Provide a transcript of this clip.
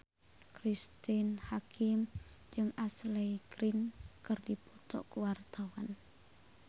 Cristine Hakim jeung Ashley Greene keur dipoto ku wartawan